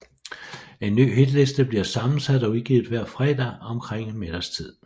En ny hitliste bliver sammensat og udgivet hver fredag omkring middagstid